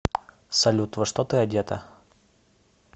салют во что ты одета